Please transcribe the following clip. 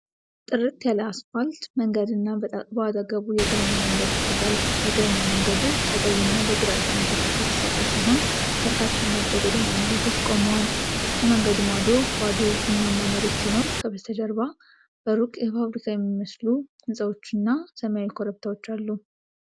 ጥርት ያለ አስፋልት መንገድ እና በአጠገቡ የእግረኛ መንገድ ይታያል። የእግረኛ መንገዱ በቀይና በግራጫ ንጣፎች የተሰራ ሲሆን፣ በርካታ ነጭ የጎዳና መብራቶች ቆመዋል። ከመንገዱ ማዶ ባዶ ቡናማ መሬት ሲኖር፣ ከበስተጀርባ በሩቅ የፋብሪካ የሚመስሉ ህንፃዎችና ሰማያዊ ኮረብታዎች አሉ።